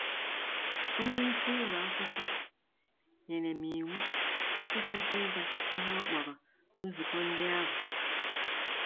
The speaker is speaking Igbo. Onye isi ụlọ akwụkwọ nyere m iwu ịkwụsị ịga ihe ọ kpọrọ ‘nzukọ ndị ahụ.’